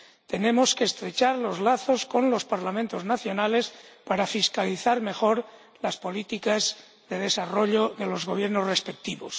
Tenemos que estrechar los lazos con los Parlamentos nacionales para fiscalizar mejor las políticas de desarrollo de los Gobiernos respectivos.